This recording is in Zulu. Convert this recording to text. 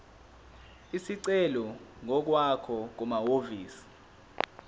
isicelo ngokwakho kumahhovisi